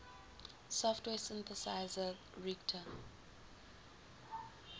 software synthesizer reaktor